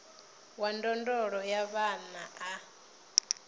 wa ndondolo ya vhana a